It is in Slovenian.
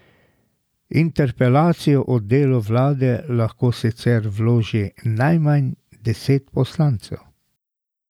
Interpelacijo o delu vlade lahko sicer vloži najmanj deset poslancev.